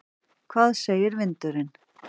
Hvað segir vindurinn?